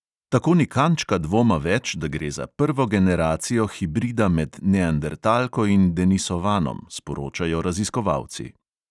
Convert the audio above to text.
Tako ni kančka dvoma več, da gre za prvo generacijo hibrida med neandertalko in denisovanom, sporočajo raziskovalci.